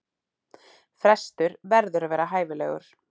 Frestur verður að vera hæfilegur.